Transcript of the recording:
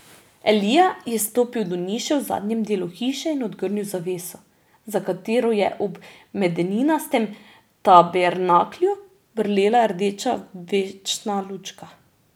Elija je stopil do niše v zadnjem delu hiše in odgrnil zaveso, za katero je ob medeninastem tabernaklju brlela rdeča večna lučka.